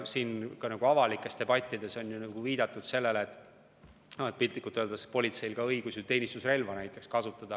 Ka avalikes debattides on viidatud sellele, et piltlikult öeldes on politseil õigus teenistusrelva kasutada.